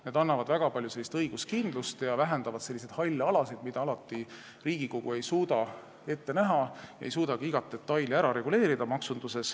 Need annavad väga palju õiguskindlust ja vähendavad halle alasid, mida Riigikogu ei suuda alati ette näha, ta ei suuda ka iga detaili maksunduses ära reguleerida.